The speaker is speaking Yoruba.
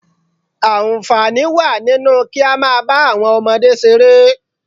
Àǹfààní wà nínú kí á máa bá àwọn ọmọdé ṣeré